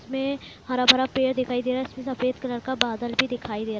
इसमे हरा-भरा पेड़ दिखाई दे रहा है इसमें सफेद कलर का बादल भी दिखाई दे रहा है।